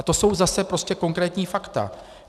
A to jsou zase prostě konkrétní fakta.